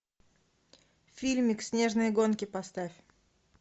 фильмик снежные гонки поставь